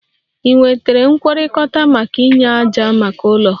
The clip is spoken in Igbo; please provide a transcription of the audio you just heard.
Ị nwetara nkwekọrịta maka inye ájá maka ụlọ?